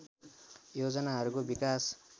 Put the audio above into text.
योजनाहरूको विकास